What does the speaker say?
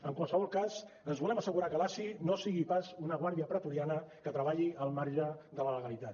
en qualsevol cas ens volem assegurar que l’asi no sigui pas una guàrdia pretoriana que treballi al marge de la legalitat